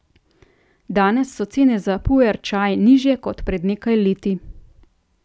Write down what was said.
Danes so cene za puer čaj nižje kot pred nekaj leti.